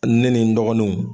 Ne nin n dɔgɔninw.